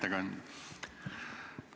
Hea ettekandja!